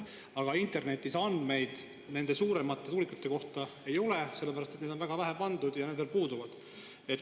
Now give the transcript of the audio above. Aga internetis ei ole andmeid nende suuremate tuulikute kohta, sest neid on väga vähe pandud ja need veel puuduvad.